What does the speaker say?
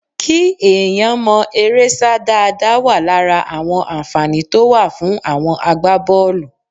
kí èèyàn mọ eré sá dáadáa wà lára àwọn ànfàní tó wà fún àwọn agbábọ̀ọ̀lù